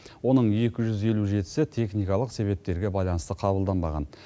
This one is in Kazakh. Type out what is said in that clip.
оның екі жүз елу жетісі техникалық себептерге байланысты қабылданбаған